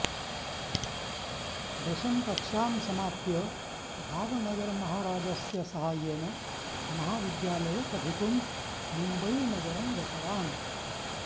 दशम कक्षां समाप्य भावनगरमहारजस्य साहाय्येन महाविद्यालये पठितुं मुम्बयीनगरं गतवान्